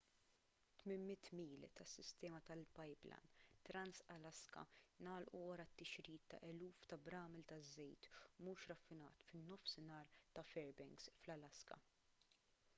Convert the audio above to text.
800 mil tas-sistema tal-pipeline trans-alaska ngħalqu wara t-tixrid ta' eluf ta' bramel ta' żejt mhux raffinat fin-nofsinhar ta' fairbanks fl-alaska